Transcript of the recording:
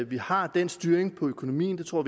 vi har den styring af økonomien det tror